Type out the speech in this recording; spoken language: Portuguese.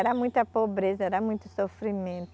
Era muita pobreza, era muito sofrimento.